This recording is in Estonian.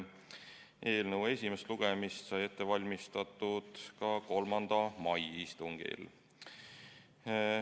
Eelnõu esimest lugemist sai ette valmistatud 3. mai istungil.